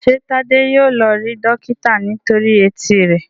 ṣe Tade yíò lọ rí dókítà nítorí Etí rẹ?